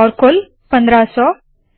और कुल पन्द्रह सौ